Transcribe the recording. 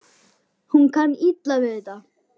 Hún kann illa við þetta.